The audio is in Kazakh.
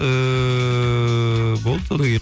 ііі болды содан кейін